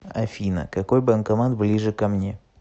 афина какой банкомат ближе ко мне